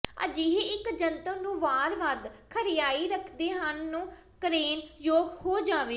ਅਜਿਹੇ ਇੱਕ ਜੰਤਰ ਨੂੰ ਵਾਰ ਵੱਧ ਖਰਿਆਈ ਰੱਖਦੇ ਹਨ ਨੂੰ ਕਰੇਨ ਯੋਗ ਹੋ ਜਾਵੇਗਾ